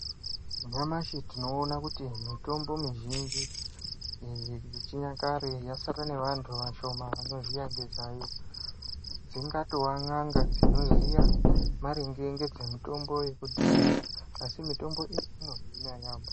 Nyamashi tinoona kuti mitombo mizhinji iyi yechinyakare yasara nevandu vashomani vanodziziva dzingava n'anga dzinotoziyamaringe ngedzemitombo dzekudhara asi mitombo iyi inohina yaambo.